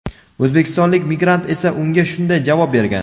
O‘zbekistonlik migrant esa unga shunday javob bergan:.